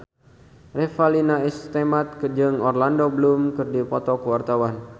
Revalina S. Temat jeung Orlando Bloom keur dipoto ku wartawan